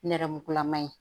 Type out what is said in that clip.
Nɛrɛmugulama ye